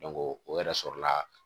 o yɛrɛ sɔrɔla